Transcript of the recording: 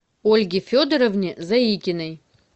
ольге федоровне заикиной